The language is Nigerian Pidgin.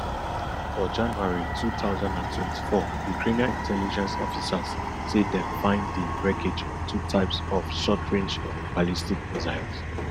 for january two thousand and twenty-four ukrainian intelligence officers say dem find di wreckage of two types of shortrange ballistic missiles